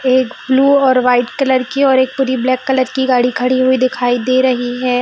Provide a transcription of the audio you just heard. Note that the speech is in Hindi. एक ब्लू और व्हाइट कलर की और प्री ब्लैक कलर की गाड़ी खड़ी हुई दिखाई दे रही है।